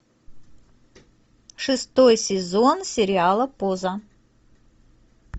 шестой сезон сериала поза